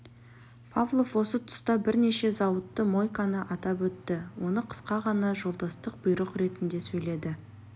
павлов осы тұста бірнеше зауытты мойканы атап өтті оны қысқа ғана жолдастық бұйрық ретінде сөйледі